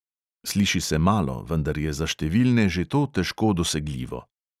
Sliši se malo, vendar je za številne že to težko dosegljivo.